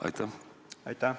Aitäh!